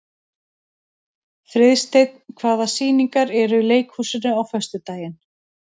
Friðsteinn, hvaða sýningar eru í leikhúsinu á föstudaginn?